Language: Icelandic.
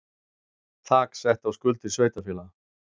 Þak sett á skuldir sveitarfélaga